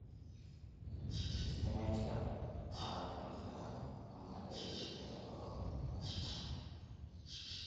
Isbinaajka waa la karin karaa ama ceyriin ayaa loo cuni karaa.